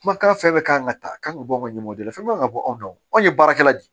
Kumakan fɛn fɛn kan ka ta kan ka bɔ anw ɲɛmɔgɔ de fɛn man ka bɔ anw ye baarakɛla di